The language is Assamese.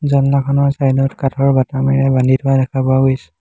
জালনাখনৰ চাইড ত কাঠৰ বাটামেৰে বান্ধি থোৱা দেখা পোৱা গৈছে।